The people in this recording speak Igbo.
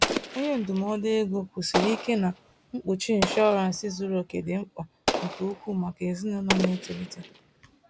Onye ndụmọdụ ego kwusiri ike na mkpuchi inshọransị zuru oke dị mkpa nke ukwuu maka ezinụlọ na-etolite.